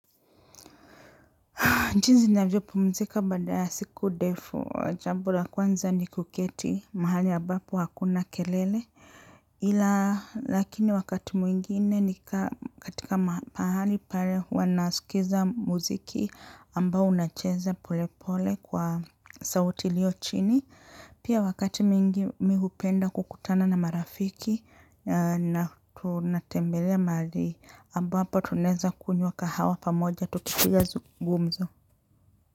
Jinzi navyo pumzika baada ya siku ndefu, jambo la kwanza ni kuketi mahali ambapo hakuna kelele. Ila lakini wakati mwingine ni katika mahali pale wanasikiza muziki ambao unacheza pole pole kwa sauti ilio chini. Pia wakati mwingi mi hupenda kukutana na marafiki na tunatembelea mahali ambapo tunaeza kunywa kahawa pamoja tupiga gumzo.